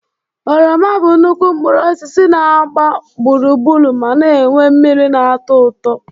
Oroma bụ nnukwu mkpụrụ osis na-agba gburugburu ma na-enwe mmiri na-atọ ụtọ.